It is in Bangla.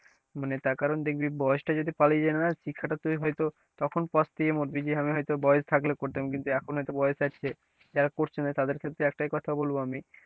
মানে তার কারণ দেখবি বয়সটা যদি পালিয়ে যায় না শিক্ষাটা তুই হয়তো তখন পস্তায় মরবি যে আমি হয়তো বয়স থাকলে করতাম কিন্তু এখন হয়তো বয়স আছে যারা করছে না তাদের ক্ষেত্রে একটাই কথা বলব আমি,